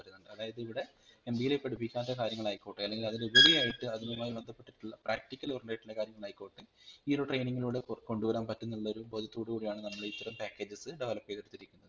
അതായത് ഇവിടെ MBA ല് പഠിപ്പിക്കാത്ത കാര്യങ്ങളായിക്കോട്ടെ അല്ലെങ്കിൽ അതിലുപരിയായിട്ട് അതിനുമായി ബന്ധപ്പെട്ടിട്ടുള്ള practical oriented ആയിട്ടുള്ള കാര്യങ്ങളായിക്കൊട്ടെ ഈ ഒരു training ളുടെ കൊണ്ടുവരാൻ പറ്റുന്നുള്ളരു ബോധത്തോടുകൂടിയാണ് നമ്മളിത്തരം packages develop ചെയ്‌തെടുത്തിരിക്കുന്നത്‌